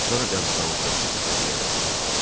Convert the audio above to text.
Sonra qəbristanlıqdakı təpəciyə qalxdı.